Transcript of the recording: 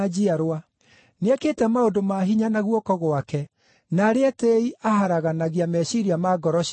Nĩekĩte maũndũ ma hinya na guoko gwake; na arĩa etĩĩi aharaganagia meciiria ma ngoro ciao.